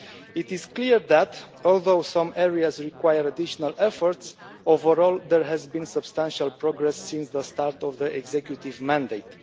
It is clear that, although some areas require additional efforts, overall there has been substantial progress since the start of the executive mandate.